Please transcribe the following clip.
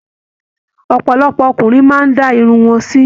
Ọpọlọpọ ọkùnrin máa n da irun wọn sì m